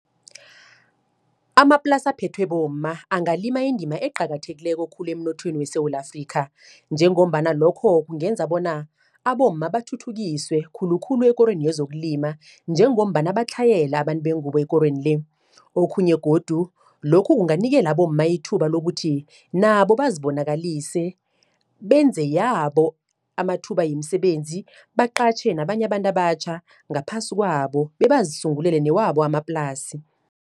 Amaplasi aphethwe bomma, angalima indima eqakathekileko khulu emnothweni weSewula Afrika. Njengombana lokho, kungenza bona abomma bathuthukiswe khulukhulu ekorweni yezokulima, njengombana batlhayele abantu bengubo ekorweni le. Okhunye godu, lokhu kunganikela abomma ithuba lokuthi, nabo bazibonakalise benze yabo amathuba yemisebenzi. Baqatjhe nabanye abantu abatjha, ngaphasi kwabo, bebazisungulele newabo amaplasi.